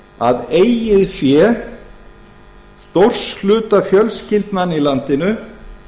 að eigið fé stórs hluta fjölskyldnanna í landinu